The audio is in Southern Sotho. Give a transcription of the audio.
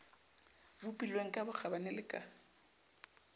bopilweng ka bokgabane le ka